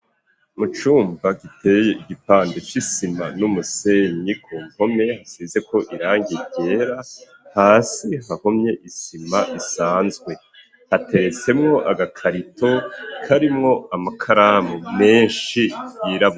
Mu cumba giteye igipandi c'isima n'umusenyi ku mpome hasizeko irangi ryera hasi hahomye isima isanzwe hateretsemwo agakarito karimwo amakaramu meshi yirabura.